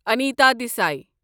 Anita Desai